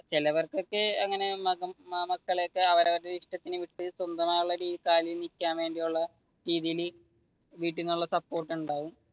ചിലവർക്കൊക്കെ അങ്ങനെ മക്കളെയൊക്കെ അവരവരുടെ ഇഷ്ടത്തിന് വിട്ടു സ്വന്തമായ കാലിൽ നീക്കുവാൻ വേണ്ടിയുള്ള രീതിയിൽ വീട്ടിൽ നിന്നുള്ള സപ്പോർട്ട് ഉണ്ടാവും.